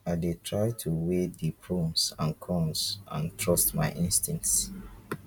i dey try to weigh di pros and cons and trust my instincts.